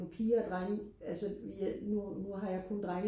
på piger og drenge altså jeg nu nu har jeg kun drenge